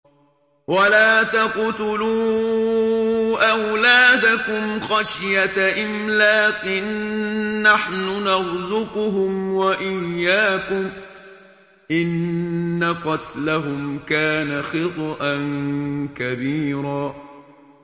وَلَا تَقْتُلُوا أَوْلَادَكُمْ خَشْيَةَ إِمْلَاقٍ ۖ نَّحْنُ نَرْزُقُهُمْ وَإِيَّاكُمْ ۚ إِنَّ قَتْلَهُمْ كَانَ خِطْئًا كَبِيرًا